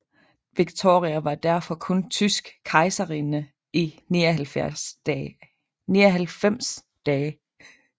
Viktoria var derfor kun tysk kejserinde i 99 dage